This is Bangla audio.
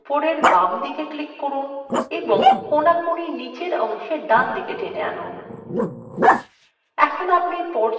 এখন formএর উপরের বামদিকে click করুন এবং কোনাকুনি নীচের অংশে ডানদিকে টেনে আনুন